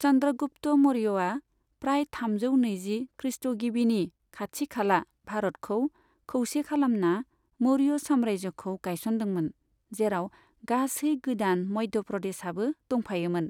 चन्द्रगुप्त मौर्यआ प्राय थामजौ नैजि ख्रिष्ट'गिबिनि खाथि खाला भारतखौ खौसे खालामना, मौर्य साम्राज्यखौ गायसनदोंमोन, जेराव गासै गोदान मध्य प्रदेशआबो दंफायोमोन।